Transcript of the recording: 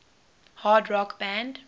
hard rock band